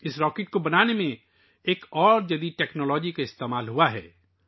اس rocket کو بنانے میں ایک اور جدید ٹیکنالوجی کا استعمال کیا گیا ہے